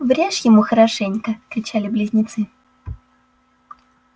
врежь ему хорошенько кричали близнецы